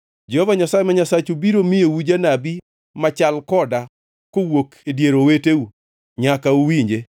Jehova Nyasaye ma Nyasachu biro miyou janabi machal koda kowuok e dier oweteu, nyaka uwinje.